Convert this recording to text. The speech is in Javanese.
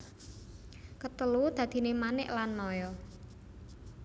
Ketelu dadine Manik lan Maya